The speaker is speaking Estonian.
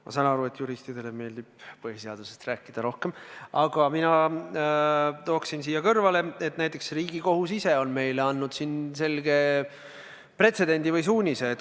Ma saan aru, et juristidele meeldib põhiseadusest rääkida, aga mina tooksin siia kõrvale, et Riigikohus ise on meile andnud selge suunise, luues pretsedendi.